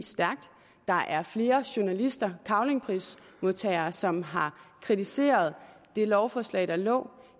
der er flere journalister cavlingprismodtagere som har kritiseret det lovforslag der lå